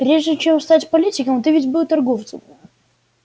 прежде чем стать политиком ты ведь был торговцем